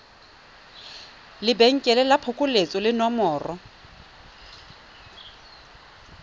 lebenkele la phokoletso le nomoro